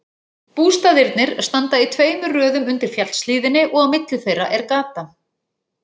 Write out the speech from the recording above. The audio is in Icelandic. Bústaðirnir standa í tveimur röðum undir fjallshlíðinni og á milli þeirra er gata.